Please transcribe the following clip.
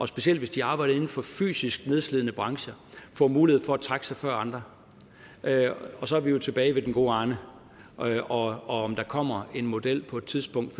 specielt hvis de har arbejdet inden for fysisk nedslidende brancher får mulighed for at trække sig før andre og så er vi jo tilbage ved den gode arne arne og om der kommer en model på et tidspunkt